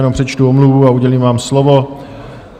Jenom přečtu omluvu a udělím vám slovo.